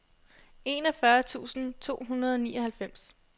enogfyrre tusind to hundrede og nioghalvfems